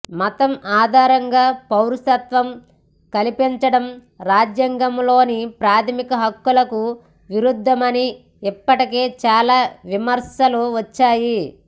మతం ఆధారంగా పౌరసత్వం కల్పించడం రాజ్యాంగంలోని ప్రాథమిక హక్కులకు విరుద్ధమని ఇప్పటికే చాలా విమర్శలు వచ్చాయి